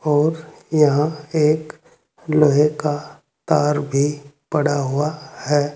और यहां एक लोहे का तार भी पड़ा हुआ है।